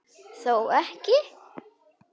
Þó ekki.?